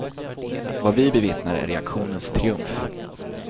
Vad vi bevittnar är reaktionens triumf.